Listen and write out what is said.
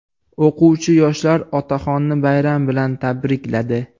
O‘quvchi-yoshlar otaxonni bayram bilan tabrikladi.